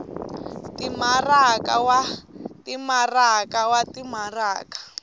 timaraka wa timaraka wa timaraka